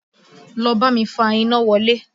Lọ bámi fa iná wọlé!